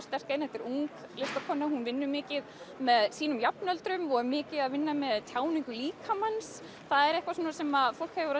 sterkt inn þetta er ung listakona hún vinnur mikið með sínum jafnöldrum og er mikið að vinna með tjáningu líkamans það er eitthvað sem fólk hefur